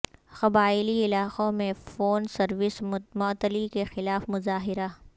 قبائلی علاقوں میں فون سروس معطلی کے خلاف مظاہرہ